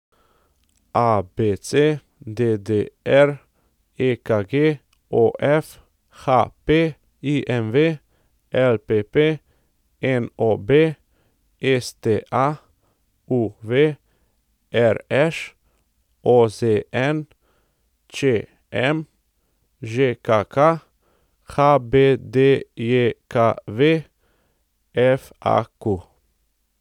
ABC, DDR, EKG, OF, HP, IMV, LPP, NOB, STA, UV, RŠ, OZN, ČM, ŽKK, HBDJKV, FAQ.